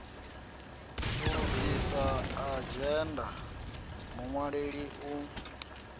u lugisa adzhenda muṅwaleli u